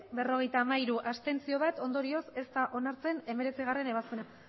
berrogeita hamairu abstentzioak bat ondorioz ez da onartzen hemeretzigarrena ebazpena